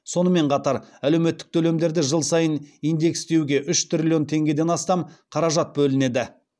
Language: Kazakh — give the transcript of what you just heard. сонымен қатар әлеуметтік төлемдерді жыл сайын индекстеуге үш триллион теңгеден астам қаражат бөлінеді